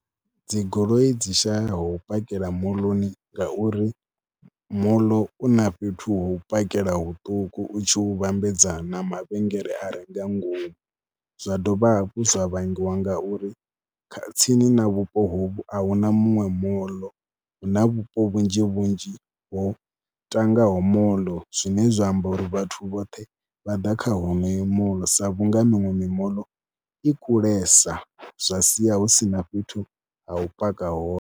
Dzi goloi dzi shayaho u pakela moḽoni ngauri moḽo u na fhethu ho u pakela huṱuku u tshi hu vhambedzana mavhengele a re nga ngomu. Zwa dovha hafhu zwa vhangiwa nga uri kha tsini na vhupo hovhu a hu na muṅwe moḽo, hu na vhupo vhunzhi vhunzhi ho tangaho moḽo zwine zwa amba uri vhathu vhoṱhe vha ḓa kha honoyo moḽo sa vhunga miṅwe mimoḽo i kulesa zwa sia hu si na fhethu ha u paka hone.